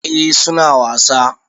Eh su na wasa.